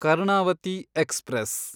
Karnavati express